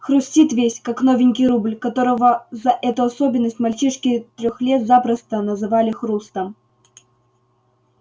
хрустит весь как новенький рубль которого за эту особенность мальчишки тех лет запросто называли хрустом